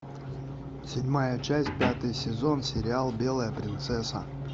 седьмая часть пятый сезон сериал белая принцесса